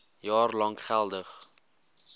jaar lank geldig